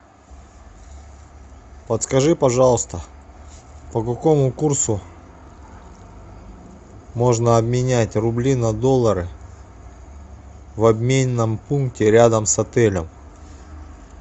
подскажи пожалуйста по какому курсу можно обменять рубли на доллары в обменном пункте рядом с отелем